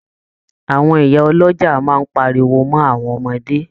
Àwọn ìyá ọlọ́jà máa páríwó mọ awọn ọmọde.